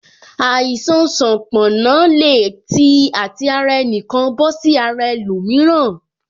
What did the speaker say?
Àìsàn sanponna le tí àti ara ẹnikan bọ sí ara ẹlòmíràn